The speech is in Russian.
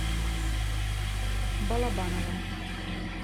балабаново